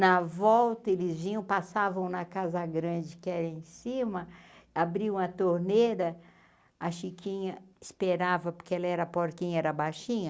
Na volta, eles vinham passavam na casa grande que era em cima, abriam a torneira, a chiquinha esperava porque ela era porquinha, era baixinha.